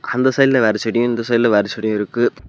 அந்த சைட்ல வேற செடியு இந்த சைட்ல வேற செடியு இருக்கு.